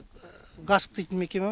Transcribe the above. гаск дейтін мекеме бар